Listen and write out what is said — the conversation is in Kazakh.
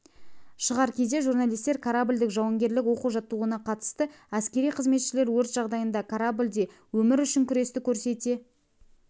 шығар кезде журналистер кораблдік-жауынгерлік оқу-жаттығуына қатысты әскери қызметшілер өрт жағдайында кораблде өмір үшін күресті көрсете